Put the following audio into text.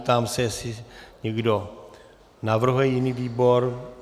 Ptám se, jestli někdo navrhuje jiný výbor.